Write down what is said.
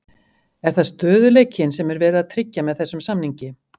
Er það stöðugleikinn sem er verið að tryggja með þessum samningi?